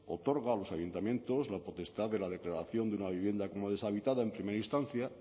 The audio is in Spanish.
punto tres otorga a los ayuntamientos la potestad de la declaración de una vivienda como deshabitada en primera instancia